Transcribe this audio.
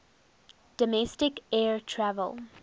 domestic air travel